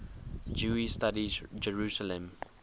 jewish studies jerusalem